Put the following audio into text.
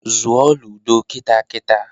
Zụọ ludo kita kita!